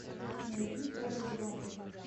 найди форест гамп